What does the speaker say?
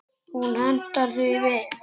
Hún hentar því vel.